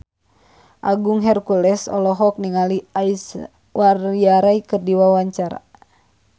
Agung Hercules olohok ningali Aishwarya Rai keur diwawancara